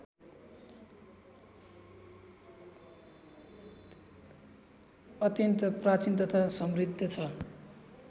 अत्यन्त प्राचीन तथा समृद्ध छ